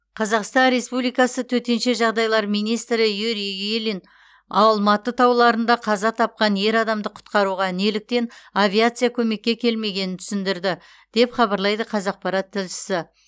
қазақстан республикасы төтенше жағдайлар министрі юрий ильин алматы тауларында қаза тапқан ер адамды құтқаруға неліктен авиация көмекке келмегенін түсіндірді деп хабарлайды қазақпарат тілшісі